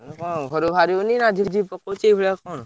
ମାନେ କଣ ଘରୁ ବାହାରି ହଉନି ନା ଝିପଝିପ ପକଉଛି ଏଇଭଳିଆ କଣ?